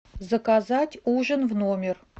заказать ужин в номер